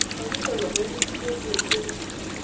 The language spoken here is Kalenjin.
Kakilei kaboris chepleting